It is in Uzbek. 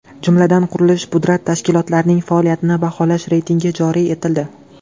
Jumladan, qurilish-pudrat tashkilotlarining faoliyatini baholash reytingi joriy etildi.